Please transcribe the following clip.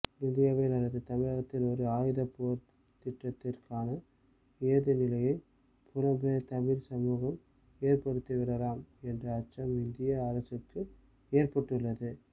இந்தியாவில் அல்லது தமிழகத்தில் ஒரு ஆயுதப்போராட்டத்திற்கான ஏதுநிலையை புலம்பெயர் தமிழ் சமூகம் ஏற்படுத்திவிடலாம் என்ற அச்சம் இந்திய அரசுக்கு ஏற்பட்டுள்ளது